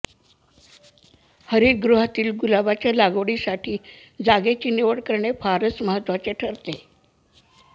हरितगृहातील गुलाबाच्या लागवडीसाठी जागेची निवड करणे फारच महत्वाचे ठरते